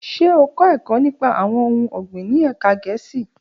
Ṣe o kọ ẹkọ nipa awọn ohun ọgbin ni ẹka Gẹẹsi?